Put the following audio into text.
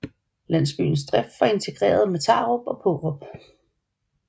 Landsbyens drift var integreret med Tarup og Paarup